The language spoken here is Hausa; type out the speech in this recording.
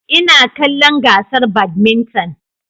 Ina kallon gasar badminton